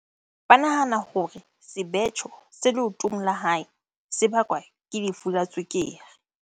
ba nahana hore sebetjho se leotong la hae se bakwa ke lefu la tswekere.